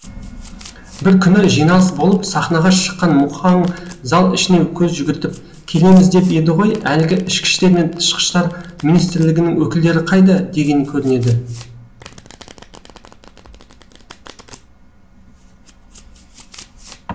бір күні жиналыс болып сахнаға шыққан мұхаң зал ішіне көз жүгіртіп келеміз деп еді ғой әлгі ішкіштер мен тышқыштар министрлігінің өкілдері қайда деген көрінеді